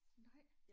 Nej